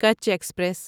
Kutch express